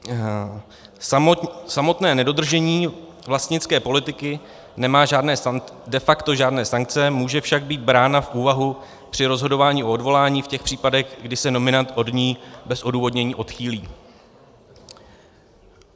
Samotné nedodržení vlastnické politiky nemá de facto žádné sankce, může však být brána v úvahu při rozhodování o odvolání v těch případech, kdy se nominant od ní bez odůvodnění odchýlí.